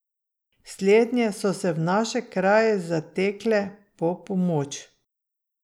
Slednje so se v naše kraje zatekle po pomoč.